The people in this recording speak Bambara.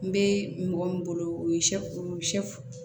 N bɛ mɔgɔ min bolo o ye